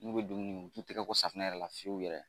N'u bɛ dumuni u t'u tɛgɛ ko safinɛ yɛrɛ la fiyewu yɛrɛ